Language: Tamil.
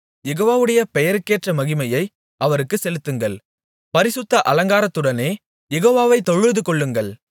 யெகோவாவுடைய பெயருக்கேற்ற மகிமையை அவருக்குச் செலுத்துங்கள் பரிசுத்த அலங்காரத்துடனே யெகோவாவை தொழுதுகொள்ளுங்கள்